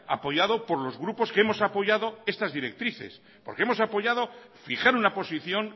apoyado por los grupos que hemos apoyado estas directrices porque hemos apoyado fijar una posición